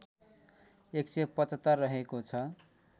१७५ रहेको छ